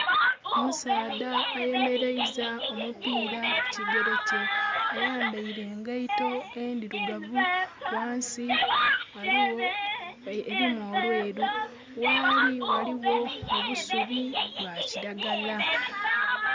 Omusaadha ayemereiza omupira ku kigerekye, ayambeire engeito ndhirugavu. Ghansi erimu olweru, ghali ghaligho obusubii bwa kilagala.